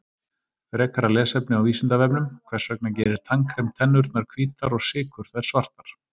Frekara lesefni á Vísindavefnum: Hvers vegna gerir tannkrem tennurnar hvítar og sykur þær svartar?